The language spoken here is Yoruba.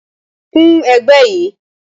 Kun ẹ̀gbẹ́ yìí